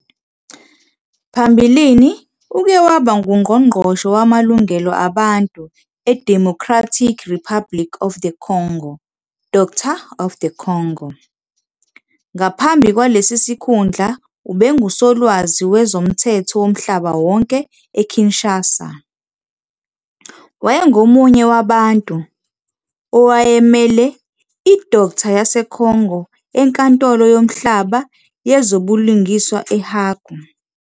Phambilini uke waba nguNgqongqoshe Wamalungelo Abantu eDemocratic Republic of the Congo, Doctor of the Congo. Ngaphambi kwalesi sikhundla, ubenguSolwazi Wezomthetho Womhlaba Wonke eKinshasa. Wayengomunye wabantu, owayemele i-Doctor yaseCongo eNkantolo Yomhlaba Yezobulungiswa eHague.